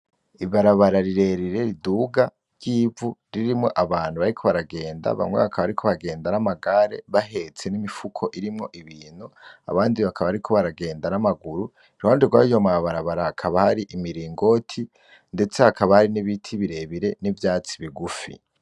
Ibarabara rirerire riduga ryivu, ririmwo abantu bariko baragenda, bamwe bakaba bariko bagenda n'ikinga bahetse n'imifuko irimwo ibintu, abandi baka bariko baragenda n'amaguru, iruhande rwayo mabarabara hakaba hari imiringoti ndetse hakaba hari n'ibiti birebire n'ivyatsi bigufi.